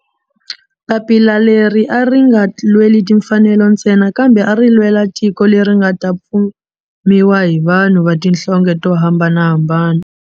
Papila leri a ri nga lweli timfanelo ntsena kambe a ri lwela tiko leri nga ta fumiwa hi vanhu va tihlonge to hambanahambana.